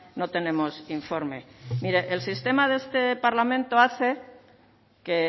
no tenemos informe mire el sistema de este parlamento hace que